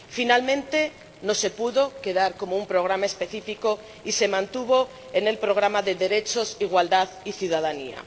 Finalmente no se pudo quedar como un programa específico y se mantuvo en el programa de Derechos, Igualdad y Ciudadanía.